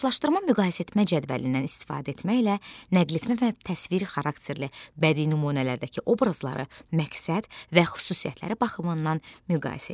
Qarşılaşdırma-müqayisə etmə cədvəlindən istifadə etməklə nəqletmə və təsvir xarakterli bədii nümunələrdəki obrazları məqsəd və xüsusiyyətləri baxımından müqayisə elə.